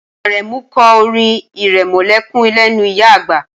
Aremu kọ́ orin irẹmọlẹ́kún lẹ́nu ìyá àgbà